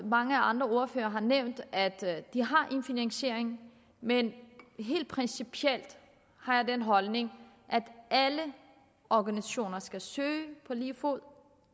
mange andre ordførere har nævnt at de har en finansiering men helt principielt har jeg den holdning at alle organisationer skal søge på lige fod